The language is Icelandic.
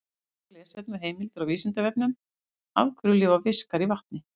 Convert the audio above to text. Frekara lesefni og heimildir á Vísindavefnum: Af hverju lifa fiskar í vatni?